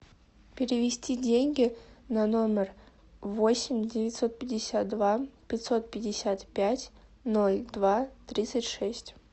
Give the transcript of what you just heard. перевести деньги на номер восемь девятьсот пятьдесят два пятьсот пятьдесят пять ноль два тридцать шесть